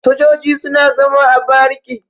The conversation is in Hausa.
Sojoji suna zama a bariki.